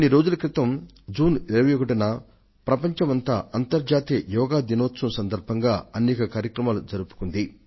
కొద్ది రోజుల కిందట జూన్ 21న యావత్ ప్రపంచం అంతర్జాతీయ యోగా దినం సందర్భంగా గొప్పగా యోగాభ్యాస కార్యక్రమాలను నిర్వహించింది